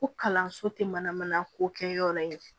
Ko kalanso tɛ manamana ko kɛ yɔrɔ in ye